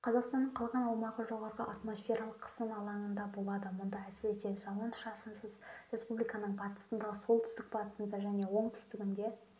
қазақстанның қалған аумағы жоғары атмосфералық қысым алаңында болады мұнда әсіресе жауын-шашынсыз республиканың батысында солтүстік-батысында және оңтүстігінде